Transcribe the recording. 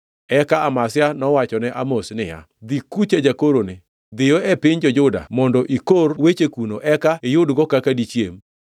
Eka Amazia nowachone Amos niya, “Dhi kucha, jakoroni! Dhiyo e piny jo-Juda mondo ikor weche kuno eka iyudgo kaka dichiem.